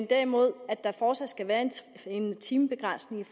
derimod fortsat skal være en timebegrænsning i